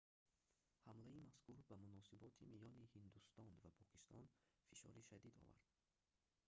ҳамлаи мазкур ба муносиботи миёни ҳиндустон ва покистон фишори шадид овард